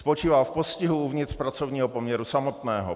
Spočívá v postihu uvnitř pracovního poměru samotného.